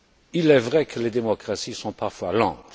Il est vrai que les démocraties sont parfois lentes.